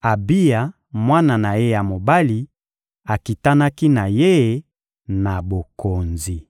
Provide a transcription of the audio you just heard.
Abiya, mwana na ye ya mobali, akitanaki na ye na bokonzi.